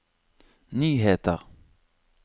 nyheter